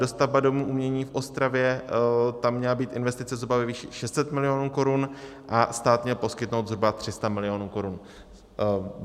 Dostavba Domu umění v Ostravě, tam měla být investice zhruba ve výši 600 milionů korun a stát měl poskytnout zhruba 300 milionů korun.